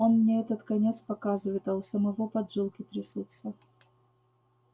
он мне этот конец показывает а у самого поджилки трясутся